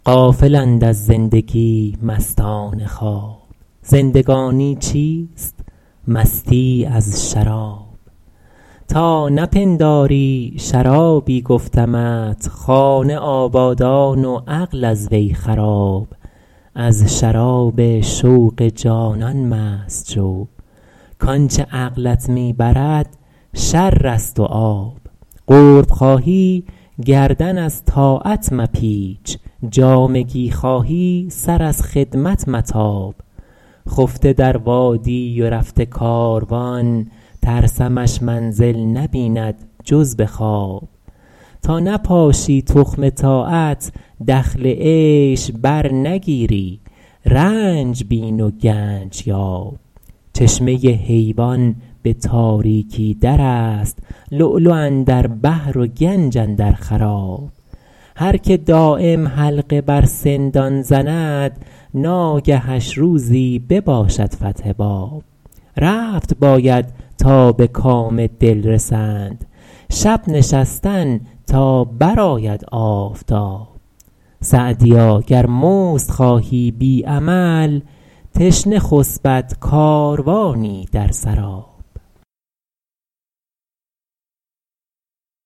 غافلند از زندگی مستان خواب زندگانی چیست مستی از شراب تا نپنداری شرابی گفتمت خانه آبادان و عقل از وی خراب از شراب شوق جانان مست شو کآنچه عقلت می برد شر است و آب قرب خواهی گردن از طاعت مپیچ جامگی خواهی سر از خدمت متاب خفته در وادی و رفته کاروان ترسمش منزل نبیند جز به خواب تا نپاشی تخم طاعت دخل عیش برنگیری رنج بین و گنج یاب چشمه حیوان به تاریکی در است لؤلؤ اندر بحر و گنج اندر خراب هر که دایم حلقه بر سندان زند ناگهش روزی بباشد فتح باب رفت باید تا به کام دل رسند شب نشستن تا برآید آفتاب سعدیا گر مزد خواهی بی عمل تشنه خسبد کاروانی در سراب